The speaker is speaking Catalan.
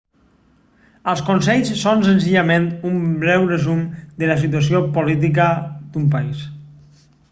els consells són senzillament un breu resum de la situació política d'un país